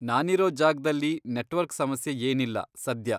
ನಾನಿರೋ ಜಾಗ್ದಲ್ಲಿ ನೆಟ್ವರ್ಕ್ ಸಮಸ್ಯೆ ಏನಿಲ್ಲ ಸದ್ಯ.